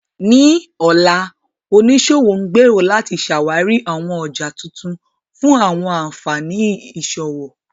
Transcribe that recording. Ní ọ̀la, oníṣòwò ń gbèrò láti ṣàwárí àwọn ọjà tuntun fún àwọn ànfàní ìṣòwò.